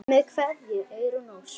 Með kveðju, Eyrún Ósk.